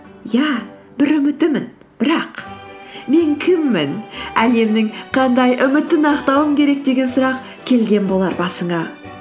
иә бір үмітімін бірақ мен кіммін әлемнің қандай үмітін ақтауым керек деген сұрақ келген болар басыңа